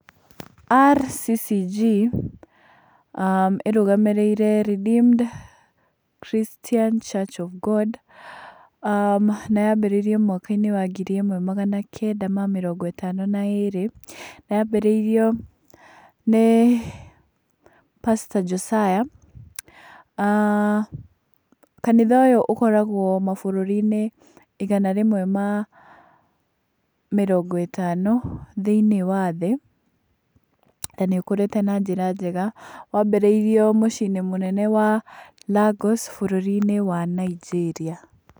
RCCG ĩrũgamĩrĩire Redeemed Christian Church of God, na yambĩrĩirie mwaka-inĩ wa ngiri ĩmwe magana kenda ma mĩrongo ĩtano na ĩrĩ. Na yambĩrĩirio nĩ pasta Josiah. Kanitha ũyũ ũkoragwo mabũrũri-inĩ igana rĩmwe ma mĩrongo ĩtano thĩiniĩ wa thĩ, na nĩ ũkũrĩte na njĩra njega. Wambĩrĩirio mũcii-inĩ mũnene wa Lagos bũrũri-inĩ wa Nigeria.